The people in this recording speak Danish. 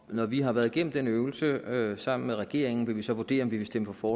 når vi har været igennem den øvelse øvelse sammen med regeringen vil vi så vurdere om vi vil stemme for